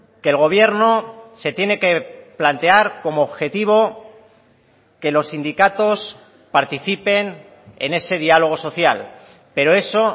que el gobierno se tiene que plantear como objetivo que los sindicatos participen en ese diálogo social pero eso